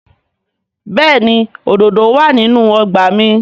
Bẹ́ẹ̀ni òdòdó wà nínú ọgbà mi